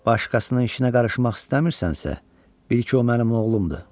Başqasının işinə qarışmaq istəmirsənsə, bil ki, o mənim oğlumdur.